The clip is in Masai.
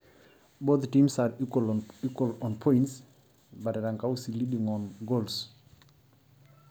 Keeta intiimi pokira pointi naynyanyuk kake erikito Erankau tombaoi